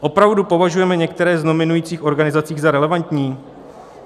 Opravdu považujeme některé z nominujících organizací za relevantní?